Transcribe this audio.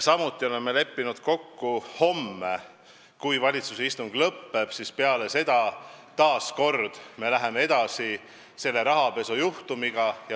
Samuti oleme kokku leppinud, et homme, kui valitsuse istung lõpeb, me läheme edasi selle rahapesujuhtumiga.